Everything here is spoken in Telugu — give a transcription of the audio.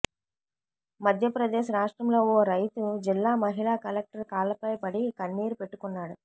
మధ్యప్రదేశ్ రాష్ట్రంలో ఓ రైతు జిల్లా మహిళా కలెక్టర్ కాళ్ల పై పడి కన్నీరు పెట్టుకున్నాడు